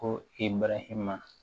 Ko i barahima na